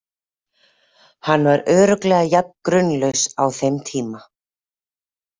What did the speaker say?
Hann var örugglega jafn grunlaus á þeim tíma.